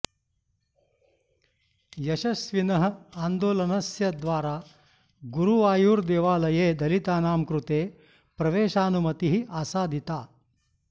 यशस्विनः आन्दोलनस्य द्वारा गुरुवायूरदेवालये दलितानां कृते प्रवेशानुमतिः आसादिता